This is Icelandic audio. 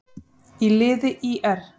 í liði ÍR.